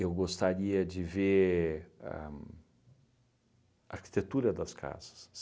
Eu gostaria de ver ahn a arquitetura das casas.